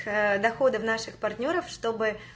доходы в наших партнёров чтобы